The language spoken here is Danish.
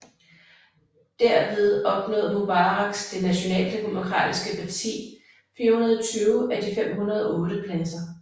Derved opnåede Mubaraks Det Nationaldemokratiske parti 420 af de 508 pladser